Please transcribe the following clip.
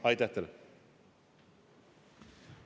Aitäh teile!